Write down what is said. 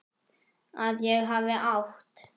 Að ég hafi átt?